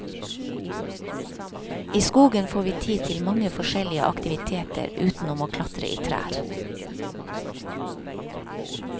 I skogen får vi tid til mange forskjellige aktiviteter utenom å klatre i trær.